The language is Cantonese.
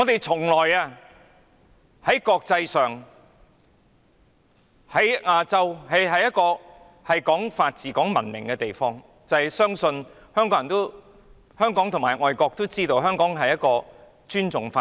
在國際或亞洲社會，香港向來是個講法治、講文明的地方，香港人和外國人都知道香港尊重法治。